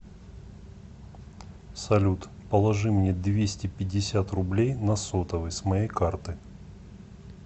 салют положи мне двести пятьдесят рублей на сотовый с моей карты